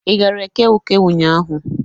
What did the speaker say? Ị gara Eke Uke ụnyaahụ?